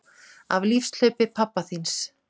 Af lífshlaupi pabba þíns